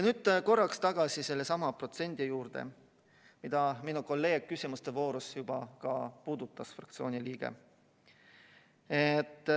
Nüüd korraks tagasi sellesama protsendi juurde, mida minu kolleeg, meie fraktsiooni liige, küsimuste voorus juba puudutas.